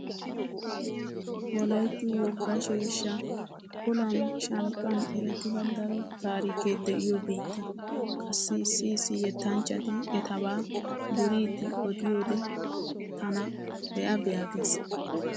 Wolaytti wogga sheeshsha olan shankkan erettida daro taarikee de'iyo biitta. Qassi issi issi yettanchchati etaba duriiddi odiyoode tana be'a be'a gees.